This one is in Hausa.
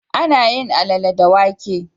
Ana yin Alalle da wake.